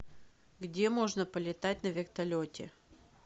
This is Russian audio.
где можно полетать на вертолете